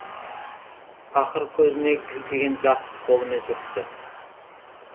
пақыр көзіне кілкіген жасты қолымен сүртті